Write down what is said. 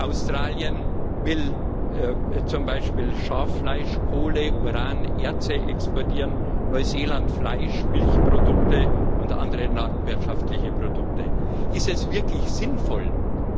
Australien will zum Beispiel Schaffleisch, Kohle, Uran und Erze exportieren, Neuseeland Fleisch, Milchprodukte und andere landwirtschaftliche Produkte. Ist es wirklich sinnvoll, z. B.